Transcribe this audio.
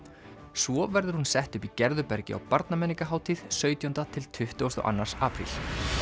svo verður hún sett upp í Gerðubergi á sautján til tuttugasta og annan apríl